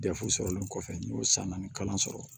Dɛfu sɔrɔlen kɔfɛ n y'o san naani kalan sɔrɔ